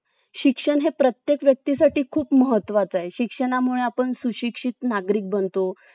भले हि तुम्ही fourg use करा पण sim जी आहे ते fiveg network चा राहूद्या म्हणजे भविष्यात तुम्हाला जर काम पडला तर तुमचा advance version चा mobile हात आला पाहिजे